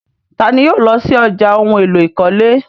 Tani yóò lọ sí ọ̀já ohun èlò ìkọ́lé?